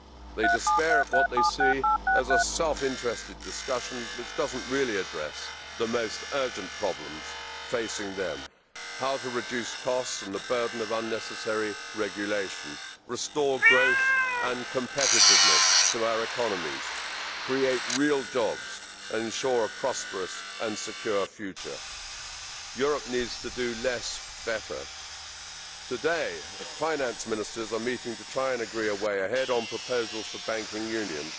They despair at what they see as a self interested discussion that does not really address the most urgent problems facing them how to reduce costs and the burden of unnecessary regulation, restore growth and competitiveness to our economies, create real jobs, and ensure a prosperous and secure future. Europe needs to do less, but better. Today, finance ministers are meeting to try and agree a way ahead on proposals for banking union.